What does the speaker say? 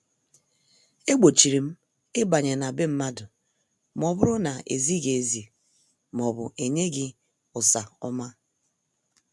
E gbochirim ịbanye n' be mmadụ ma ọbụrụ na- ezighị ezi maọbụ enyeghi usa ọma.